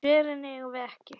Svörin eigum við ekki.